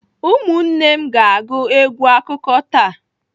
Ụmụnne na m ga-agụ egwu akụkọ taa.